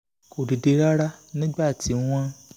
kò dìde rárá nígbà tí wọ́n